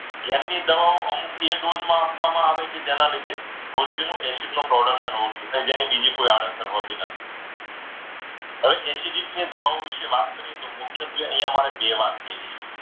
ઘેર ની દવા અમુક બે dose માં આપવામાં આવે છે. કે જેના લીધે હોજરીમાં acid નું production ઓછું થાય જેને બીજી કોઈ આડઅસર હોતી નથી. હવે acidity ની દવા વિશે વાત કરીએ તો એમાં મુખ્યત્વે મારે બે વાત કહેવી છે.